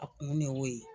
A kun de y'o ye